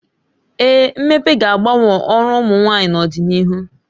Ee, mmepe ga-agbanwe ọrụ ụmụ nwaanyị n'ọdịnihu